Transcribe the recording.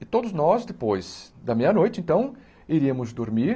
E todos nós, depois da meia-noite, então, iríamos dormir.